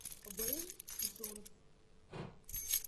вэйл джонс